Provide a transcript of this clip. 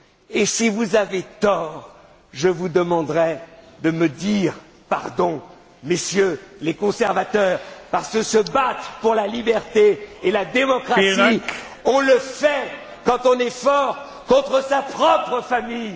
Et si vous avez tort, je vous demanderai de me dire pardon, Messieurs les conservateurs, parce que se battre pour la liberté et la démocratie, on le fait, quand on est fort, contre sa propre famille.